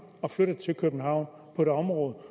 og flyttet til københavn på et område hvor